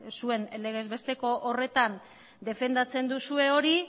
zuen legezbesteko horretan defendatzen duzue hori